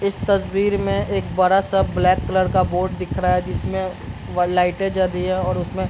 इस तस्वीर में एक बड़ा-सा ब्लैक कलर का बोर्ड दिख रहा है जिसमें व लाइटें जल रही है और उसमें --